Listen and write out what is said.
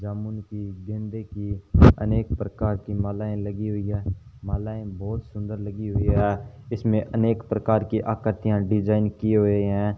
जामुन की गेंदे की अनेक प्रकार की मालाएं लगी हुई है मलाएं बहुत सुंदर लगी हुई है इसमें अनेक प्रकार की आकृतियां डिजाइन किए हुए हैं।